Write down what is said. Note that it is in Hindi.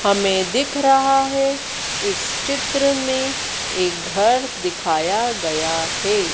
हमें दिख रहा है इस चित्र में एक घर दिखाया गया हैं।